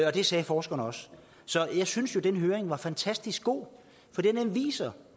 og det sagde forskerne også så jeg synes jo at den høring var fantastisk god fordi den viste